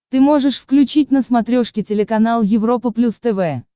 ты можешь включить на смотрешке телеканал европа плюс тв